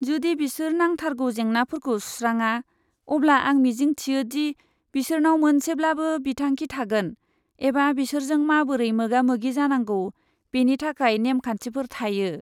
जुदि बिसोर नांथारगौ जेंनाफोरखौ सुस्राङा, अब्ला आं मिजिं थियो दि बिसोरनाव मोनसेब्लाबो बिथांखि थागोन एबा बिसोरजों माबोरै मोगा मोगि जानांगौ बेनि थाखाय नेमखान्थिफोर थायो।